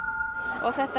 þetta